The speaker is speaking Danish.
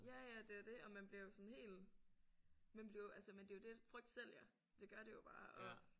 Ja ja det er det og man bliver jo sådan helt man bliver jo altså men det er jo det frygt sælger det gør det jo bare og